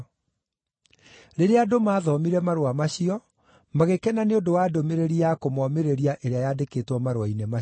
Rĩrĩa andũ maathomire marũa macio, magĩkena nĩ ũndũ wa ndũmĩrĩri ya kũmoomĩrĩria ĩrĩa yaandĩkĩtwo marũa-inĩ macio.